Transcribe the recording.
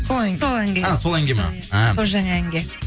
сол әнге сол әнге а сол әнге ма ааа су жаңа әнге